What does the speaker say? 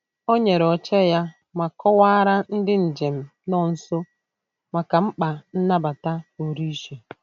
Ọ nyere oche ya ma kọwaara ndị njem nọ nso maka mkpa nnabata pụrụ iche.